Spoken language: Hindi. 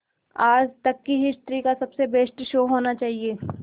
आज तक की हिस्ट्री का सबसे बेस्ट शो होना चाहिए